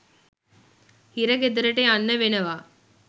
හිරගෙදරට යන්න වෙනවා